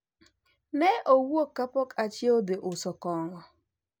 ne owuok kapok achiew dhi uso kong'o